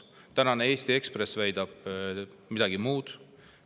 Tänane Eesti Ekspress väidab midagi muud.